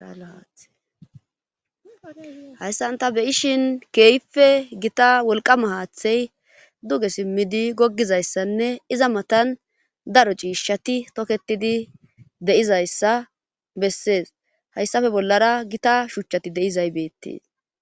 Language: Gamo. hayssan ta beyishin keeyfe gita wolqama haaththey duge simmidi goggizayssanne iza matan daro ciishshati toketidi deizayssa bessees hayssafe bollara gita shuchchati de7izaybeettiis